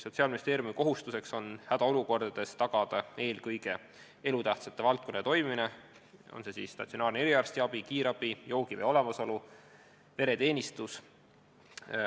Sotsiaalministeeriumi kohustus on hädaolukordades tagada elutähtsate valdkondade toimimine, näiteks statsionaarne eriarstiabi, kiirabi, joogivee olemasolu ja pereteenistus.